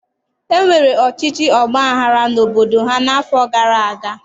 E nwere ọchịchị ọgba aghara n'obodo ha n'afọ gara aga.